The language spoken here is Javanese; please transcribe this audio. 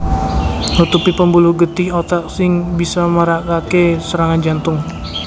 Nutupi pembuluh getih otak sing bisa marakake serangan jantung